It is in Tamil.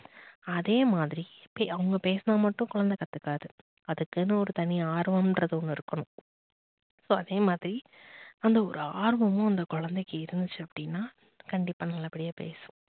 அதே மாதிரி அவங்க பேசினா மட்டும் குழந்தை கத்துக்காது அதுக்குன்னு ஒரு தனி ஒரு ஆர்வம்னுறது ஒன்னு இருக்கணும் so அதே மாதிரி அந்த ஒரு ஆர்வமும் அந்த குழந்தைக்கு இருந்துச்சு அப்படின்னா கண்டிப்பா நல்லபடியா பேசும்